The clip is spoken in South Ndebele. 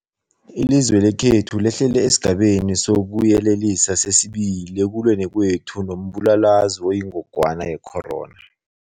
Ilizwe lekhethu lehlele esiGabeni sokuYelelisa sesi-2 ekulweni kwethu nombulalazwe oyingogwana ye-corona.